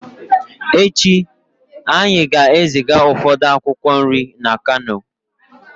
Echi anyị ga-eziga ụfọdụ akwụkwọ nri na kano